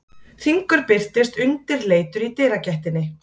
Hringur birtist undirleitur í dyragættinni.